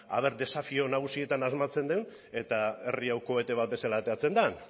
desafio nagusietan asmatzen dugun eta herri hau kohete bat bezala ateratzen den